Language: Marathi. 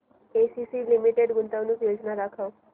एसीसी लिमिटेड गुंतवणूक योजना दाखव